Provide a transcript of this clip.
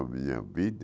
Minha vida